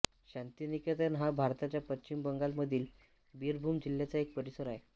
शांतिनिकेतन हा भारताच्या पश्चिम बंगालमधील बीरभूम जिल्ह्याचा एक परिसर आहे